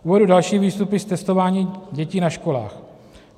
Uvedu další výstupy z testování dětí na školách.